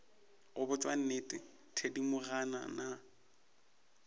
go botša nnete thedimogane nna